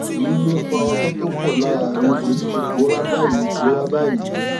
èyí ló fa ọgbẹ tó pọ lára mi èyí tó ti pòórá báyìí pòórá báyìí